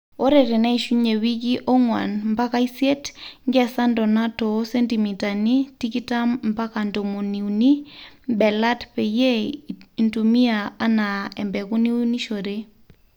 ore teneishunye wiki onguan mpaka isiet, nkesa ntona too sentimitani tikitam mpaka ntomoni uni belat peyie intumiaa anaa embeku niunishore